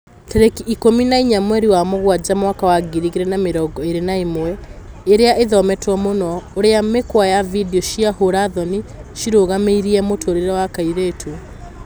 Tarĩki ikũmi na inya mweri wa Mũgwanja mwaka wa ngiri igĩri na mĩrongo ĩri na ĩmwe, ĩria ĩthometwo mũno: ũrĩa mĩkwa ya video cia hũra thoni ciarũgamirie mũtũrĩre wa kairĩtu